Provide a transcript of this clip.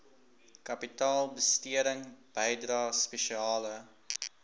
kapitaalbesteding bydrae spesiale